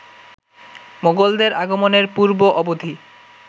মোগলদের আগমনের পূর্ব-অবধি